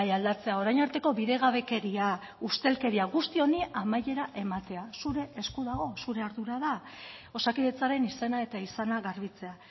aldatzea orain arteko bidegabekeria ustelkeria guzti honi amaiera ematea zure esku dago zure ardura da osakidetzaren izena eta izana garbitzea